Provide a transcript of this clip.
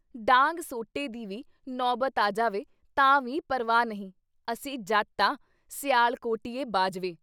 ਡਾਂਗ ਸੋਟੇ ਦੀ ਵੀ ਨੌਬਤ ਆ ਜਾਵੇ ਤਾਂ ਵੀ ਪ੍ਰਵਾਹ ਨਹੀਂ, ਅਸੀਂ ਜੱਟ ਆਂ ਸਿਆਲਕੋਟੀਏ ਬਾਜਵੇ ।